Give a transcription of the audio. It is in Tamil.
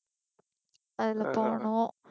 அதுல போனோம்